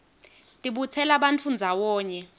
tibutsela bantfu ndzawonye